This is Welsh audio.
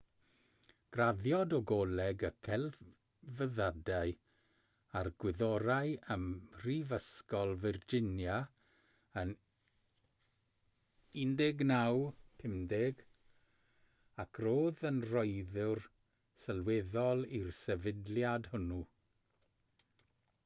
graddiodd o goleg y celfyddydau a'r gwyddorau ym mhrifysgol virginia yn 1950 ac roedd yn rhoddwr sylweddol i'r sefydliad hwnnw